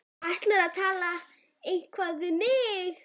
Ætlarðu að tala eitthvað við mig?